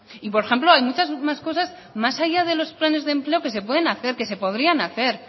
y por ejemplo hay muchas más cosas más allá de los planes de empleo que se pueden hacer que se podrían hacer